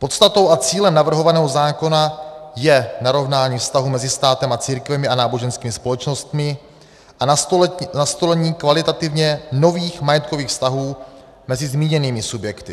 Podstatou a cílem navrhovaného zákona je narovnání vztahu mezi státem a církvemi a náboženskými společnostmi a nastolení kvalitativně nových majetkových vztahů mezi zmíněnými subjekty.